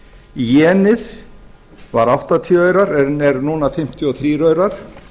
jenið var áttatíu aurar en er núna fimmtíu og þrjú aurar